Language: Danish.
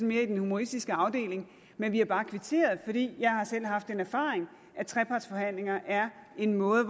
mere i den humoristiske afdeling men vi har bare kvitteret for det jeg har selv haft den erfaring at trepartsforhandlinger er en måde